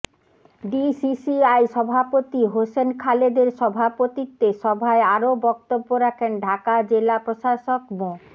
DCCI সভাপতি হোসেন খালেদের সভাপতিত্বে সভায় আরও বক্তব্য রাখেন ঢাকা জেলা প্রশাসক মো